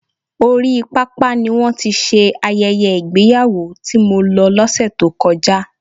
Orí pápá ni wọ́n ti ṣe ayẹyẹ ìgbéyàwó tí mo lọ lọse tó kọjá.